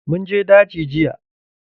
Mun je daji jiya.